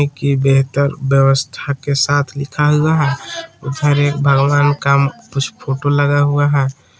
की बेहतर व्यवस्था के साथ लिखा हुआ है उधर एक भगवान का कुछ फोटो लगा हुआ है।